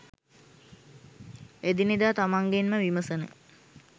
එදිනෙදා තමන්ගෙන්ම විමසන